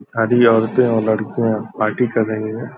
सारी औरतें और लड़कियां पार्टी कर रही हैं।